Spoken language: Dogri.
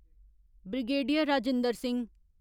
ब्रिगेडियर राजेन्द्र सिंह